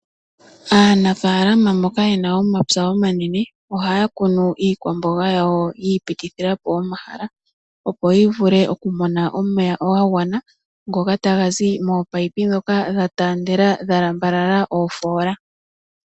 Aanafaalama mboka yena omapya omanene oha ya kunu iikwamboga ya wo yi ipitilitha po omahala, opo yi vule okumona omeya ga gwana ngoka ta ga zi mominino ndhoka dha taandela dha lambalala oofoola.